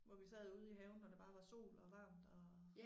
Hvor vi sad ude i haven og det bare var sol og varmt og